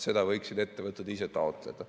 Seda võiksid ettevõtted ise taotleda.